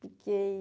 Fiquei...